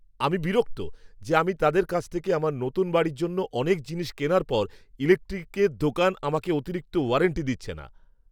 আমি বিরক্ত যে, আমি তাদের কাছ থেকে আমার নতুন বাড়ির জন্য অনেক জিনিস কেনার পর ইলেকট্রিকের দোকান আমাকে অতিরিক্ত ওয়ারেন্টি দিচ্ছে না।